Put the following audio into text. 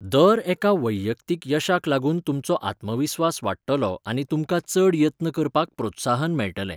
दर एका वैयक्तीक यशाक लागून तुमचो आत्मविस्वास वाडटलो आनी तुमकां चड यत्न करपाक प्रोत्साहन मेळटलें.